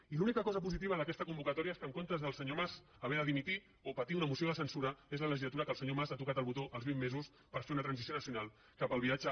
i l’única cosa positiva d’aquesta convocatòria és que en comptes del senyor mas haver de dimitir o patir una moció de censura és la legislatura en què el senyor mas ha tocat el botó als vint mesos per fer una transició nacio nal cap al viatge